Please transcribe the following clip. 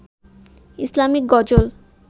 Islamic গজল